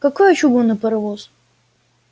какой чугунный паровоз